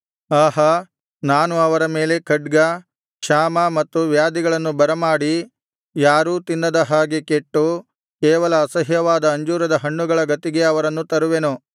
ಆಹಾ ನಾನು ಅವರ ಮೇಲೆ ಖಡ್ಗ ಕ್ಷಾಮ ಮತ್ತು ವ್ಯಾಧಿಗಳನ್ನು ಬರಮಾಡಿ ಯಾರೂ ತಿನ್ನದ ಹಾಗೆ ಕೆಟ್ಟು ಕೇವಲ ಅಸಹ್ಯವಾದ ಅಂಜೂರದ ಹಣ್ಣುಗಳ ಗತಿಗೆ ಅವರನ್ನು ತರುವೆನು